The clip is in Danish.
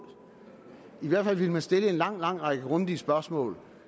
i hvert fald ville man stille en lang lang række grundige spørgsmål